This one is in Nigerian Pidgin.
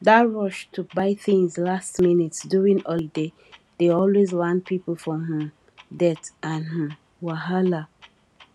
that rush to buy things last minute during holiday dey always land people for um debt and um wahala